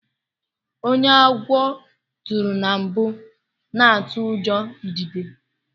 Ónyé agwọ turu na mbụ na atụ ụjọ idide.